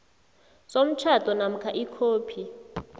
somtjhado namkha ikhophi